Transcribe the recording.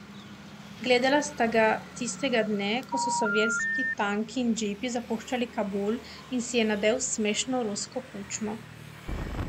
Gledala sta ga tistega dne, ko so sovjetski tanki in džipi zapuščali Kabul in si je nadel smešno rusko kučmo.